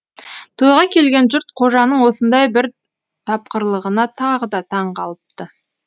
тойға келген жұрт қожаның осындай бір тапқырлығына тағы да таң қалыпты